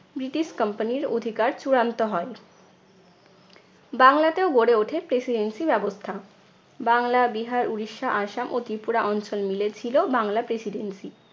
British company র অধিকার চূড়ান্ত হয়। বাংলাতেও গড়ে ওঠে presidency ব্যবস্থা। বাংলা, বিহার, উড়িষ্যা, আসাম ও ত্রিপুরা অঞ্চল মিলে ছিল বাংলা precidency